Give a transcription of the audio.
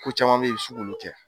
Ko caman bɛ yen i bɛ se k'olu kɛ